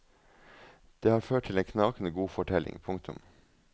Det har ført til en knakende god fortelling. punktum